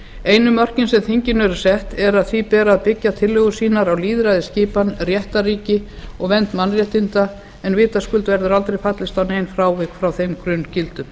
einu mörkin sem þinginu eru sett er að því ber að byggja tillögur sínar á lýðræðisskipan réttarríki og vernd mannréttinda en vitaskuld verður aldrei fallist á nein frávik frá þeim grunngildum